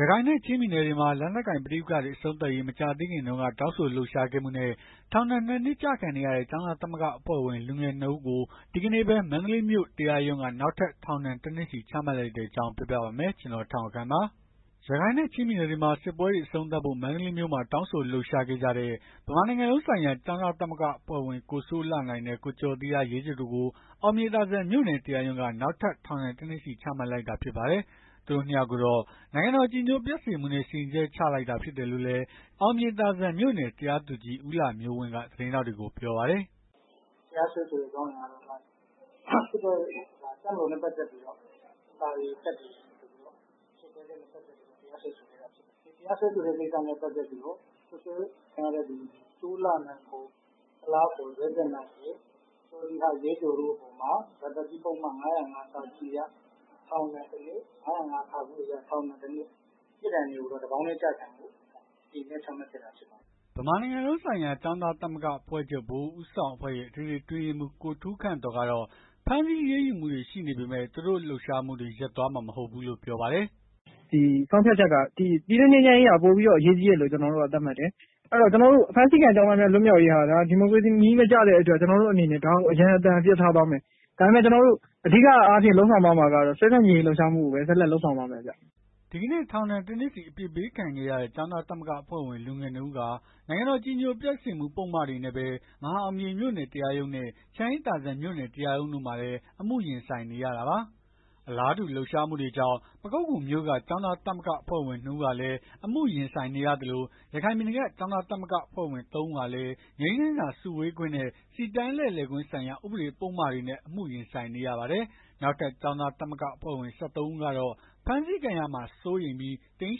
ရခိုင်နဲ့ ချင်းပြည်နယ်တွေမှာ လက်နက်ကိုင်ပဋိပက္ခတွေ အဆုံးသတ်ရေး မကြာသေးခင်တုန်းက တောင်းဆိုလှုပ်ရှားခဲ့မှုနဲ့ ထောင်ဒဏ် ၂ နှစ် ကျခံနေရတဲ့ ကျောင်းသားသမဂ္ဂအဖွဲ့ဝင် လူငယ် ၂ ဦးကို ဒီကနေ့ပဲ မန္တလေးမြို့တရားရုံးက နောက်ထပ်ထောင်ဒဏ် ၁ နှစ်စီ ချမှတ်လိုက်တဲ့အကြောင်း ပြောပြပါမယ်။ ဗွီအိုအေမြန်မာပိုင်းသတင်းထောက် ကိုထက်အောင်ခန့်က သတင်းပေးပို့ထားပါတယ်။ ရခိုင်နဲ့ ချင်းပြည်နယ်တွေမှာ စစ်ပွဲတွေ အဆုံးသတ်ဖို့ မန္တလေးမြို့မှာ တောင်းဆိုလှုပ်ရှားခဲ့ကြတဲ့ ဗမာနိုင်ငံလုံးဆိုင်ရာ ကျောင်းသားသမဂ္ဂ အဖွဲ့ဝင် ကိုစိုးလှနိုင်နဲ့ ကိုကျော်သီဟရဲကျော်တို့ကို အောင်မြေသာစံမြို့နယ် တရားရုံးက နောက်ထပ် ထောင်ဒဏ် ၁ နှစ်စီ ချမှတ်လိုက်တာ ဖြစ်ပါတယ်။ သူတို့ ၂ ယောက်ကိုတော့ နိုင်ငံတော် အကြည်ညိုပျက်စေမှုနဲ့ စီရင်ချက်ချခဲ့တာဖြစ်တယ်လို့လည်း အောင်မြေသာစံ မြို့နယ် တရားသူကြီး ဦးလှမျိုးဝင်းက သတင်းထောက်တွေကို ပြောပါတယ်။ “တရားစွဲဆိုတဲ့ အကြောင်းအရာက စစ်တပ် တပ်မတော်နဲ့ ပတ်သက်လို့ စာတွေကပ်တယ်ဆိုပြီး စွပ်စွဲချက်နဲ့ တရားစွဲဆိုခဲ့တာဖြစ်တယ်။ တရားစွဲဆိုတဲ့ ကိစ္စနဲ့ ပတ်သက်ပြီးတော့ စိုးလှနိုင် ကုလား ၊ ကျော်သီဟ ရဲကျော်တို့အပေါ်မှာ ရာဇသတ်ကြီး ပုဒ်မ ၅၀၅ အရ ထောင်ဒဏ် ၁ နှစ် ၅၀၅ အရ ထောင်ဒဏ် ၁ နှစ် ပြစ်ဒဏ်တွေကိုတော့ တပေါင်းတည်း ကျခံဖို့ စီရင်ချက် ချမှတ်ခဲ့တာ ဖြစ်ပါတယ်။” ဗမာနိုင်ငံလုံးဆိုင်ရာ ကျောင်းသားသမဂ္ဂအဖွဲ့ချုပ် ဗဟိုဦးဆောင်အဖွဲ့ရဲ့ အထွေထွေ အတွင်းရေးမှူး ကိုထူးခန့်သော်ကတော့ ဖမ်းဆီးအရေးယူမှုတွေ ရှိနေပေမဲ့ သူတို့လှုပ်ရှားမှုတွေ ရပ်သွားမှာ မဟုတ်ဘူးလို့ပြောပါတယ်။ “ဆုံးဖြတ်ချက်က ပြည်တွင်းငြိမ်းချမ်းရေးက ပိုပြီးအရေးကြီးတယ်လို့ ကျွန်တော်တို့က သတ်မှတ်တယ်။ ဖမ်းဆီးခံ ကျောင်းသားတွေ လွတ်မြောက်ရေးဟာ ဒါဒီမိုကရေစီနည်းမကျတဲ့အတွက် အရန်အဖြစ် ထားသွားမယ်။ ဒါပေမဲ့ အဓိကအားဖြင့် ဆက်လက်လုပ်ဆောင်သွားမှာက စစ်ဆန့်ကျင်ရေးကိုပဲ ဆက်လက် လုပ်ဆောင် သွားမယ်။” ဒီကနေ့ ထောင်ဒဏ် ၁ နှစ်စီ အပြစ်ပေးခံခဲ့ရတဲ့ ကျောင်းသားသမဂ္ဂဝင် လူငယ် ၂ ဦးဟာ နိုင်ငံတော် အကြည်ညိုပျက်စေမှု ဥပဒေပုဒ်မတွေနဲ့ပဲ မဟာအောင်မြေ မြို့နယ်တရားရုံးနဲ့ ချမ်းအေးသာစံ မြို့နယ်တရားရုံးတို့မှာလည်း အမှုရင်ဆိုင်နေရတာပါ။ အလားတူ လှုပ်ရှားမှုတွေကြောင့် ပခုက္ကူမြို့က ကျောင်းသား သမဂ္ဂအဖွဲ့ဝင် ၂ ဦးဟာလည်း အမှုရင်ဆိုင်နေရသလို ရခိုင်ပြည်နယ်က ကျောင်းသား သမဂ္ဂအဖွဲ့ဝင် ၃ ဦးဟာလည်း ငြိမ်းချမ်းစွာ စုဝေးခွင့်နဲ့ စီတန်းလှည့်လည်ခွင့်ဆိုင်ရာ ဥပဒေပုဒ်မတွေနဲ့ အမှုရင်ဆိုင်နေရပါတယ်။ နောက်ထပ် ကျောင်းသားသမဂ္ဂဝင် ၁၃ ဦးကတော့ ဖမ်းဆီးခံရမှာ စိုးရိမ်ပြီး တိမ်း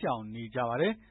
ရှောင်နေကြပါတယ်။